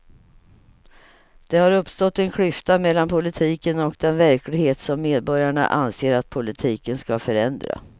Det har uppstått en klyfta mellan politiken och den verklighet som medborgarna anser att politiken ska förändra.